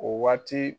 O waati